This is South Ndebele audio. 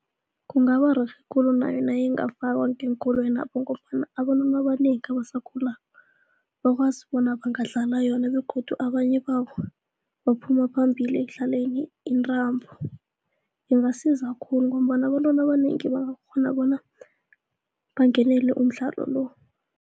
Kungaba rerhe khulu nayo nayingafakwa ngeenkolwenapho ngombana abantwana abanengi abasakhulako, bakwazi bona bangadlala yona begodu abanye babo baphuma phambili ekudlaleni intambo ingasiza khulu ngombana abantwana abanengi bangakghona bona bangenele umdlalo lo.